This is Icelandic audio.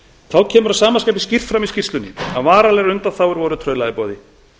þá kemur að sama skapi skýrt fram í skýrslunni að varanlegar undanþágur voru trauðla í boði